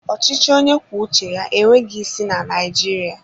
Ọchịchị onye kwuo uche ya enweghị isi na Naijiriia